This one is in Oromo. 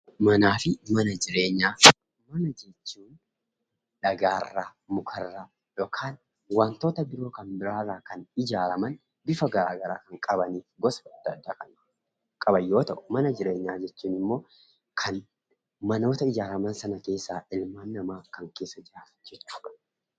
Manaa fi Mana Jireenyaa: Mana jechuun dhagaarraa, mukarraa yookaan wantoota biroo kan biraarraa kan ijaaraman, bifa garaagaraa kan qaban fi gosa adda addaa kan qaban yoo ta'u, mana jireenyaa jechuun immoo kan manoota ijaaraman sana keessaa ilmaan namaa kan keessa jiraatan jechuu dha.